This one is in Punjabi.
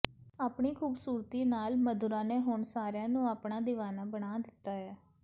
ਆਪਣੀ ਖੂਬਸੂਰਤੀ ਨਾਲ ਮਧੁਰਾ ਨੇ ਹੁਣ ਸਾਰਿਆਂ ਨੂੰ ਆਪਣਾ ਦੀਵਾਨਾ ਬਣਾ ਦਿੱਤਾ ਹੈ